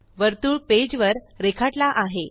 वर्तुळ पेज वर रेखाटला आहे